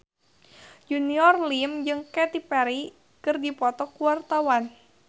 Junior Liem jeung Katy Perry keur dipoto ku wartawan